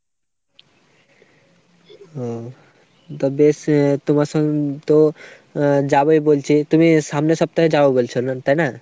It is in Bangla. ও তা বেশ। তোমার সঙ্গে তো আহ যাবোই বলছি, তুমি সামনের সপ্তাহে যাবো বলছো না তাই না ?